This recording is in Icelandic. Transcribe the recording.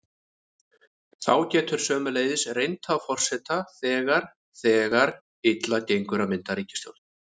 Þá getur sömuleiðis reynt á forseta þegar þegar illa gengur að mynda ríkisstjórn.